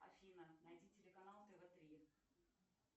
афина найди телеканал тв три